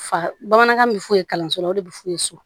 Fa bamanankan bɛ f'u ye kalanso la o de bi f'u ye so